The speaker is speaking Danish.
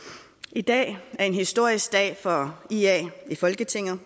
i dag er en historisk dag for ia i folketinget